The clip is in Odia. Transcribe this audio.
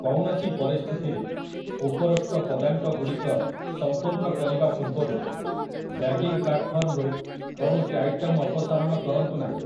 କୌଣସି ପରିସ୍ଥିତିରେ, ଉପରୋକ୍ତ ପଦାଙ୍କ ଗୁଡ଼ିକ ସମ୍ପୂର୍ଣ୍ଣ କରିବା ପୂର୍ବରୁ ବ୍ୟାଗିଂ ପ୍ଲାଟଫର୍ମରୁ କୌଣସି ଆଇଟମ୍ ଅପସାରଣ କରନ୍ତୁ ନାହିଁ ।